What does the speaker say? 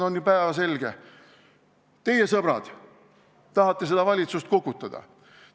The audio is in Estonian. On ju päevselge, et teie, sõbrad, tahate seda valitsust kukutada.